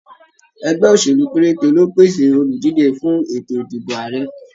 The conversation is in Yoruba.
Ẹgbẹ́ òṣèlú pérété ló pèsè oludije fún ètò ìdìbò Ààrẹ.